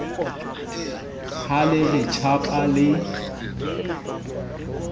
ha le re tjhapa le